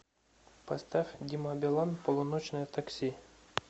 поставь дима билан полуночное такси